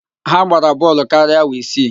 Ha gbara bọọlụ karịa awa isii